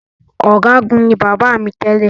Ọ̀gágun ni bàbá mi tẹ́lẹ̀